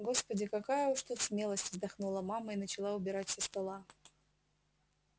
господи какая уж тут смелость вздохнула мама и начала убирать со стола